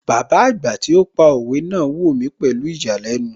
Bàbá àgbà tí ó pa òwe náà wò mí pẹ̀lú ìyàlẹ́nu